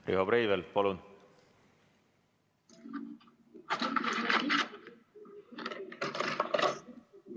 Riho Breivel, palun!